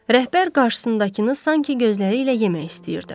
Rəhbər qarşısındakını sanki gözləri ilə yemək istəyirdi.